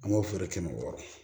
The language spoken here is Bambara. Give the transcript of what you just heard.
An b'o feere kɛmɛ wɔɔrɔ